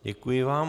Děkuji vám.